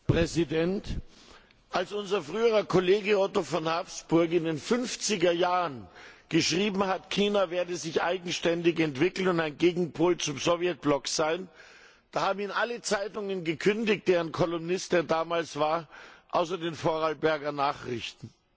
Herr Präsident! Als unser früherer Kollege Otto von Habsburg in den 50er Jahren geschrieben hat, China werde sich eigenständig entwickeln und ein Gegenpol zum Sowjetblock sein, da haben ihm alle Zeitungen gekündigt, deren Kolumnist er damals war außer den Vorarlberger Nachrichten.